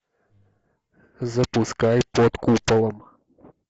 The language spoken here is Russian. запускай под куполом